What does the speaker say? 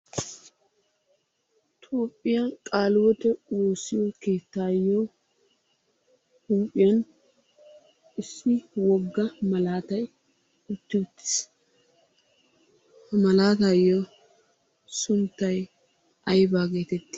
Toophiyaa qalihiwoote woossiyo keettayo huphphiyaan issi wogga malatay utti uttiis. Ha Malaatayo sunttay aybba getetti?